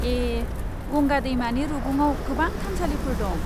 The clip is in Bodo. ए, गंगा दैमानि रुगुङाव गोबां थानसालिफोर दं।